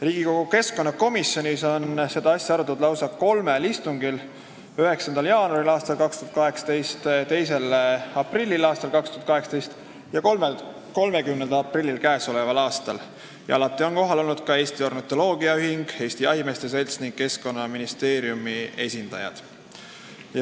Riigikogu keskkonnakomisjonis on seda asja arutatud lausa kolmel istungil: 9. jaanuaril, 2. aprillil ja 30. aprillil k.a. Alati on kohal olnud Eesti Ornitoloogiaühingu, Eesti Jahimeeste Seltsi ning Keskkonnaministeeriumi esindajad.